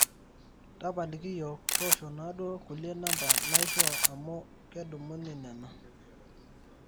tapaliki yiok, tosho naduo kulie namba naishoo amu kedumuni nena